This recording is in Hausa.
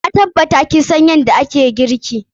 Na tabbata kin san yadda ake girki.